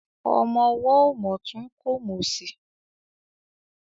Ọmọ ọwọ́ ò mòtún kò mòsì.